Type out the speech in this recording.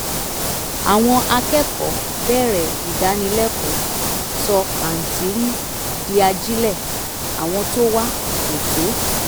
àwọn akẹ́kọ̀ọ́ bẹ̀rẹ̀ ìdánilẹ́kọ̀ọ́ sọ pàǹtírí di ajílẹ̀ àwọn tó wá kò tó